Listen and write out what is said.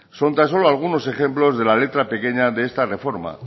son tan solo algunos ejemplos de la letra pequeña de esta reforma